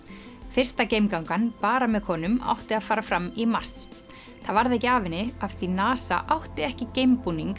fyrsta bara með konum átti að fara fram í mars það varð ekki af henni af því NASA átti ekki